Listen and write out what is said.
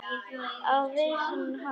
Á vissan hátt.